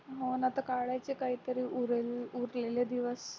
हो ना आता काढायचे काहीतरी उरले उरलेले दिवस